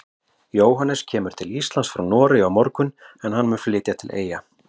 Jóhannes kemur til Íslands frá Noregi á morgun en hann mun flytja til Eyja.